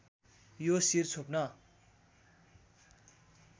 यो शिर छोप्न